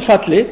falli